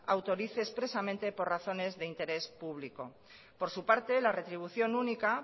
autorice expresamente por razones de interés público por su parte la retribución única